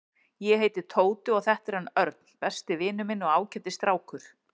Ég heiti Tóti og þetta er hann Örn, besti vinur minn og ágætis strákur.